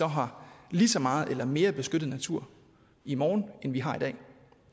har lige så meget eller mere beskyttet natur i morgen end vi har i dag